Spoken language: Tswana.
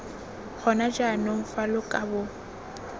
gona jaanong fa lo kabo